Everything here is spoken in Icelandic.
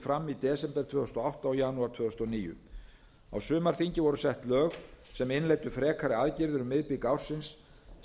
fram í desember tvö þúsund og átta og janúar tvö þúsund og níu á sumarþingi voru sett lög sem innleiddu frekari aðgerðir um miðbik ársins